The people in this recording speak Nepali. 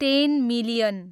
ten million